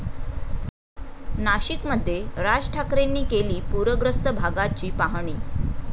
नाशिकमध्ये राज ठाकरेंनी केली पुरग्रस्त भागाची पाहणी